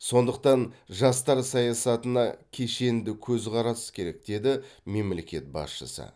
сондықтан жастар саясатына кешенді көзқарас керек деді мемлекет басшысы